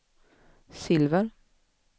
silver